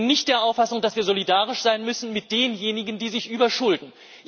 Ich bin nicht der Auffassung, dass wir solidarisch sein müssen mit denjenigen, die sich überschulden.